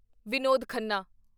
Vinod Khanna